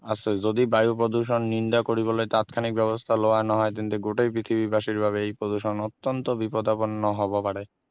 আছে যদি বায়ু প্ৰদূষণ নিন্দা কৰিবলৈ তাৎক্ষণিক ব্যৱস্থা লোৱা নহয় তেন্তে গোটেই পৃথিৱীবাসীৰ বাবে এই প্ৰদূষণ অত্যন্ত বিপদাপন্ন হব পাৰে